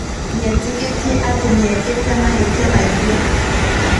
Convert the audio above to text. Nĩ eetĩkĩrire atĩ nĩ ekĩte mahĩtia mangĩ.